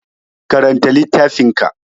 Karanta littafin ka!